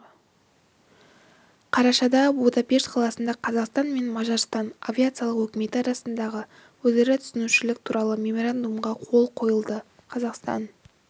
қарашада будапешт қаласында қазақстан мен мажарстан авиациялық өкіметі арасында өзара түсінушілік туралы меморандумға қол қойылды қазақстан